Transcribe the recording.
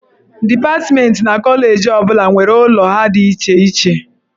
Dipatmentị na koleji ọ bụla nwere ụlọ ha dị iche iche.